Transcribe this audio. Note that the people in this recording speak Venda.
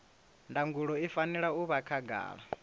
ndangulo i fanela u vha khagala